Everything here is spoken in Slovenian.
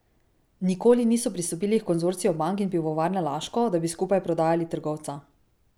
Nikoli niso pristopili h konzorciju bank in Pivovarne Laško, da bi skupaj prodajali trgovca.